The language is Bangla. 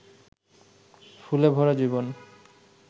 ফুলে ভরা জীবন